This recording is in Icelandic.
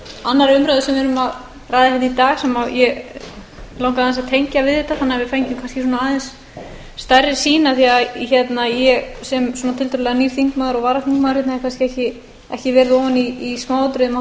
annarri umræðu sem við erum að ræða hérna í dag sem mig langaði aðeins að tengja við þetta þannig að við fengjum kannski aðeins stærri sýn af því ég sem tiltölulega nýr þingmaður og varaþingmaður hérna hef kannski ekki verið ofan í smáatriðum á þessari makríldeilu þó